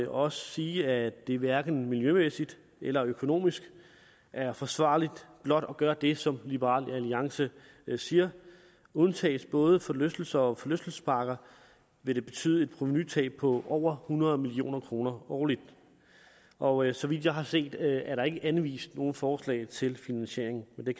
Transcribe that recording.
også sige at det hverken miljømæssigt eller økonomisk er forsvarligt blot at gøre det som liberal alliance siger undtages både forlystelser og forlystelsesparker vil det betyde et provenutab på over hundrede million kroner årligt årligt så vidt jeg har set er der ikke anvist nogen forslag til finansieringen men det